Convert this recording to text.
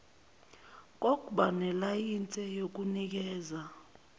kokba nelayinse yokunikeza